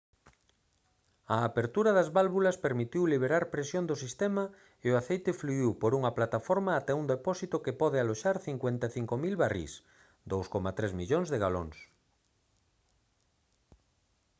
a apertura das válvulas permitiu liberar presión do sistema e o aceite fluíu por unha plataforma ata un depósito que pode aloxar 55 000 barrís 2,3 millóns de galóns